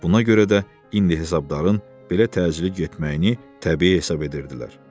Buna görə də indi hesabdarın belə təcili getməyini təbii hesab edirdilər.